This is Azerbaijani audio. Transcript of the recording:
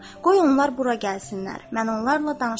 Qoy onlar bura gəlsinlər, mən onlarla danışaram.